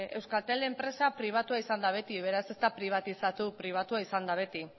euskaltel enpresa pribatua izan da beti beraz ez da pribatizatu pribatua izan da beti